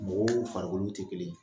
Mɔgɔw farikolo tɛ kelen ye